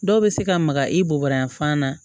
Dɔw bɛ se ka maga i bobayanfan na